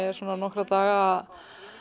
er nokkra daga